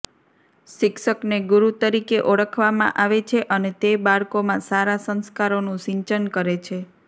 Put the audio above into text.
શિક્ષકને ગુરૃ તરીકે ઓળખવામાં આવે છે અને તે બાળકોમાં સારા સંસ્કારોનું સિંચન કરે છે